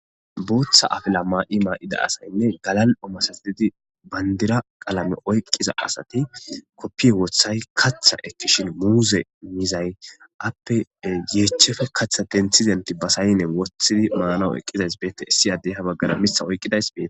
Botha apila mayo mayida asaynne galal'o bandira qalame oykida asati kopiye wothays katha elishin miuze mizay ape ye heppe katha denthi dentji be sayne wothidi manaw eqidays betes issi addey ha bagaramitha oykidays beetes